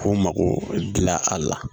K'u mago dilan a la